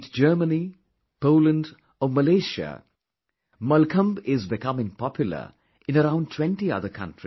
Be it Germany, Poland or Malaysia Mallakhambh is becoming popular in around 20 other countries